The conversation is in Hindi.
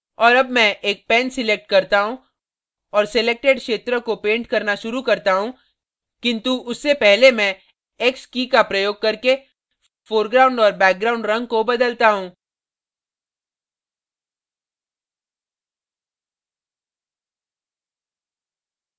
और अब मैं एक pen select करता हूँ और selected क्षेत्र को pen करना शुरू करता हूँ किन्तु उससे पहले मैं की key x का प्रयोग करके foreground और background रंग को बदलता हूँ